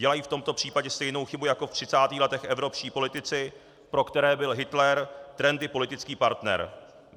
Dělají v tomto případě stejnou chybu jako ve třicátých letech evropští politici, pro které byl Hitler trendy politický partner.